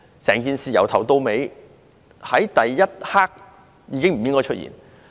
整件事在第一刻已經不應該出現。